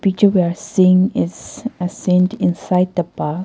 Picture we are seeing is assigned inside the bus.